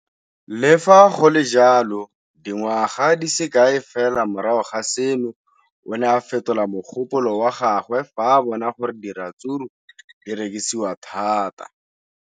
Le fa go le jalo, dingwaga di se kae fela morago ga seno, o ne a fetola mogopolo wa gagwe fa a bona gore diratsuru di rekisiwa thata.